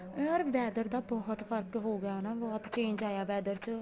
ਯਾਰ weather ਦਾ ਬਹੁਤ ਫਰਕ ਹੋਗਿਆ ਹਨਾ ਬਹੁਤ change ਆਇਆ weather ਚ